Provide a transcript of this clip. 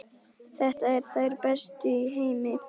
Þetta eru þær bestu í heimi!